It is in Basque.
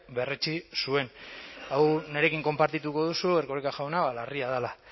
berretsi zuen hau nirekin konpartituko duzu erkoreka jauna larria dela